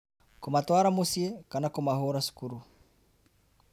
Kũmatwara mũciĩ, kana kũmahũũra cukuru